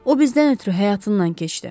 O bizdən ötrü həyatından keçdi.